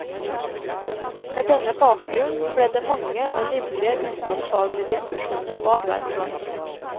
Med denne bakgrunn ble det mange og livlige utenomfaglige diskusjoner på arbeidsplassen.